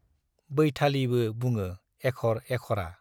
बैथालि' बो बुङो एख'र एख'रा।